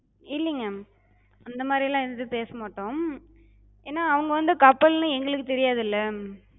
இல்லிங்க, அந்தமாரிலா எது பேச மாட்டோ. ஏனா அவங்க வந்து couple னு எங்களுக்குத் தெரியாதுல.